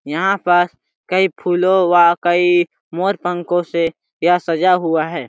यहाँ पर कई फूलों व कई मोर पंखों से यह सजा हुआ है।